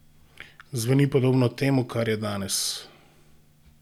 Zveni podobno temu, kar je danes?